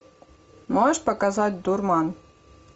можешь показать дурман